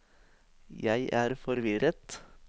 jeg er forvirret